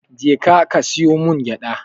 Je ka ka siyo min gyada.